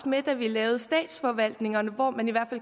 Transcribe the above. med da vi lavede statsforvaltningerne og man